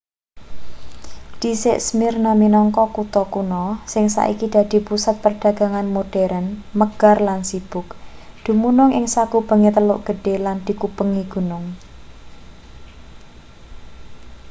dhisik smyrna minangka kutha kuna sing saiki dadi pusat padagangan modheren megar lan sibuk dumunung ing sakubenge teluk gedhe lan dikubengi gunung